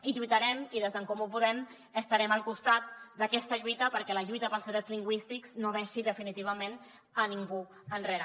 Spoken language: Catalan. i lluitarem i des d’en comú podem estarem al costat d’aquesta lluita perquè la lluita pels drets lingüístics no deixi definitivament a ningú enrere